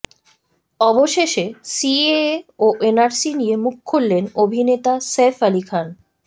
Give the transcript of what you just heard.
অবশেষে সিএএ ও এনআরসি নিয়ে মুখ খুললেন অভিনেতা সইফ আলি খান